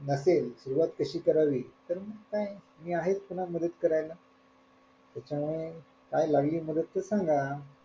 नसेल सुरुवात कशी करावी तर मग काय मी आहेच ना मदत करायला त्याच्यामुळे काय लागली मदत तर सांगा.